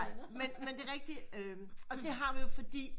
Men men det er rigtigt og det har vi jo fordi